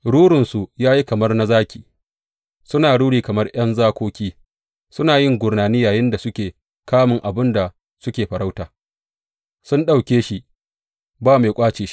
Rurinsu ya yi kamar na zaki, suna ruri kamar ’yan zakoki; suna yin gurnani yayinda suke kamun abin da suke farauta su ɗauke shi ba mai ƙwace shi.